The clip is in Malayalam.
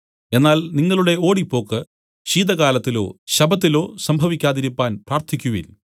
എന്നാൽ നിങ്ങളുടെ ഓടിപ്പോക്ക് ശീതകാലത്തോ ശബ്ബത്തിലോ സംഭവിക്കാതിരിപ്പാൻ പ്രാർത്ഥിക്കുവിൻ